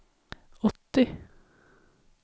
åttio